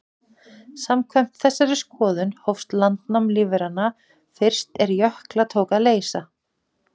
Samkvæmt þessari skoðun hófst landnám lífveranna fyrst er jökla tók að leysa.